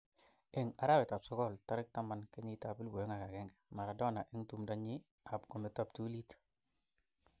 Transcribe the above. Eng arawet ab sogol tarikit 10 kenyit ab 2001, Maradona eng tumdo nyin ab kometo ptulit.